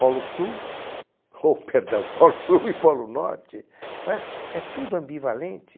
Polo Sul, hô, perdão, Polo Sul e Polo Norte, não é? É tudo ambivalente.